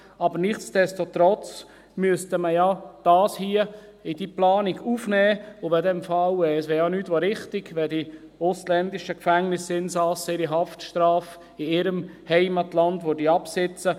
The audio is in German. Aber nichtsdestotrotz müsste man dies ja hier in die Planung aufnehmen, und es wäre nichts als richtig, wenn die ausländischen Gefängnisinsassen ihre Haftstrafe in ihrem Heimatland absitzen würden.